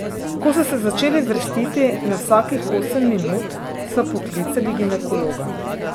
Ko so se začeli vrstiti na vsakih osem minut, sva poklicali ginekologa.